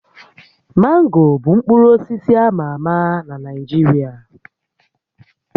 Mango bụ mkpụrụ osisi a ma ama na Naịjirịa